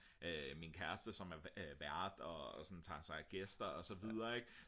min kæreste som er vært og sådan tager sig af gæster og så videre ik